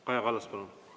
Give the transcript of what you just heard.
Kaja Kallas, palun!